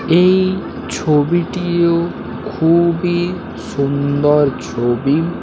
এ-এই ছবিটিও খুবই সুন্দর ছবি-ই--